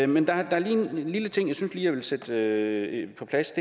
men der er lige en lille ting jeg synes jeg vil sætte på plads